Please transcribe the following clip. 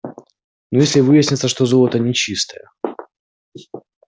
но если выяснится что золото нечистое